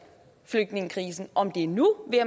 flygtningekrisen om det er nu